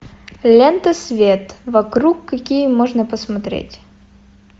лента свет вокруг какие можно посмотреть